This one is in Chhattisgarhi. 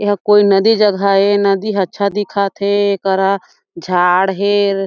एहा कोई नदी जगह ए नदी अच्छा दिखत हे एकरा झाड़ हे ।